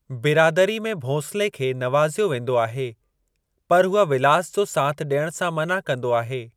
बिरादरी में भोंसले खे नवाज़ियो वेंदो आहे , पर हूअ विलास जो साथ डि॒यणु सां मना कंदो आहे।